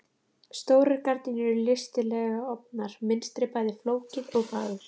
Stórar gardínurnar eru listilega ofnar, mynstrið bæði flókið og fagurt.